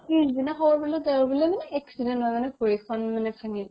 পিছদিনা খবৰ পালো তেওঁৰ বোলে মানে accident হৈ মানে ভৰি এখন মানে ভাঙিল ।